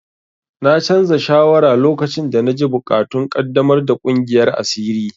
Na canza shawara lokacin da na ji buƙatun ƙaddamar da ƙungiyar asiri.